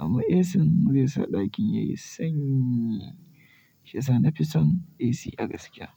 Amma AC zai sa ɗakin yayi sanyi, shi sa na fi son AC a gaskiya.